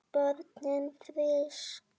Börnin frísk.